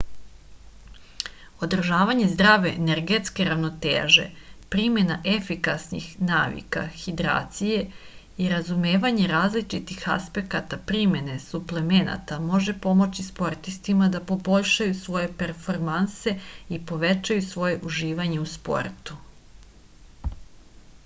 održavanje zdrave energetske ravnoteže primena efikasnih navika hidracije i razumevanje različitih aspekata primene suplemenata može pomoći sportistima da poboljšaju svoje performanse i povećaju svoje uživanje u sportu